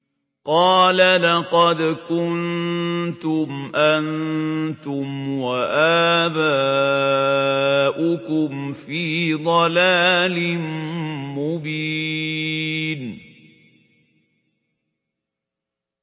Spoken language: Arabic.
قَالَ لَقَدْ كُنتُمْ أَنتُمْ وَآبَاؤُكُمْ فِي ضَلَالٍ مُّبِينٍ